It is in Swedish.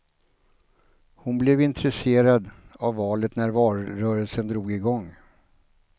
Hon blev intresserad av valet när valrörelsen drog igång.